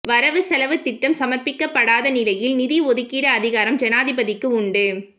வரவு செலவுத்திட்டம் சமர்ப்பிக்கப்படாத நிலையில் நிதி ஒதுக்கீடு அதிகாரம் ஜனாதிபதிக்கு உண்டு